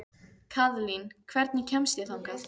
Kaðlín, hvernig kemst ég þangað?